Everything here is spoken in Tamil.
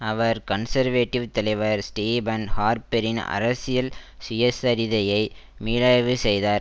அவர் கன்சர்வேட்டிவ் தலைவர் ஸ்டீபன் ஹார்ப்பெரின் அரசியல் சுயசரிதையை மீளாய்வு செய்தார்